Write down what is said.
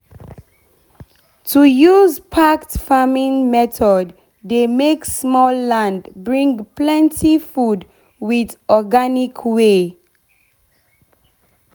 to use packed farming method dey make small land bring plenty food with organic way.